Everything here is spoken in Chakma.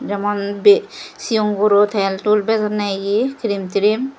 jemon bi sion guro tel tul bijonne ye cream tream.